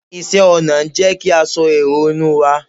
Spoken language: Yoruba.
iṣẹ ọnà n jé kí a so èrò inú wa